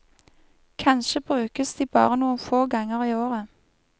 Kanskje brukes de bare noen få ganger i året.